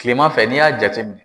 Kilemanfɛ n'i y'a jate minɛ